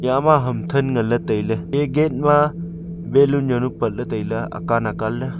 iyama ham than nganley tailey ee gate ma balloon zaunu patley tailey akan akan ley.